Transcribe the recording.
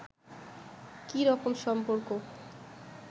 কি রকম সম্পর্ক